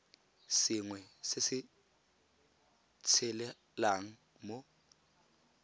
sengwe se se tshelelang mo